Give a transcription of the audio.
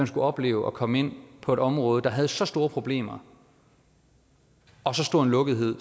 skulle opleve at komme ind på et område der havde så store problemer og så stor en lukkethed